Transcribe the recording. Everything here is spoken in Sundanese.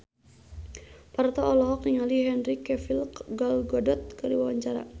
Parto olohok ningali Henry Cavill Gal Gadot keur diwawancara